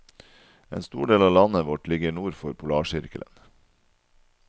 En stor del av landet vårt ligger nord for polarsirkelen.